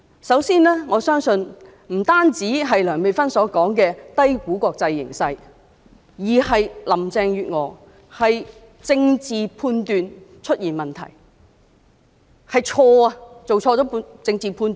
首先，不單是梁美芬議員所說的低估國際形勢，而是林鄭月娥政治判斷出現問題，作出了錯誤的政治判斷。